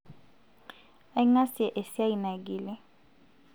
aingasie esiai naigili